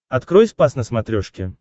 открой спас на смотрешке